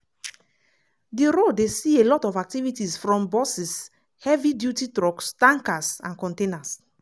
di road dey see a lot of activities from buses heavy duty trucks tankers and containers.